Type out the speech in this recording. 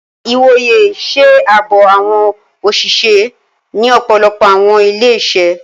Ìwòyè ṣe ààbò awọn oṣiṣẹ ni ọpọlọpọ awọn ilé-iṣẹ